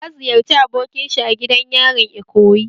Ya ziyarci abokin shi a gidan yarin Ikoyi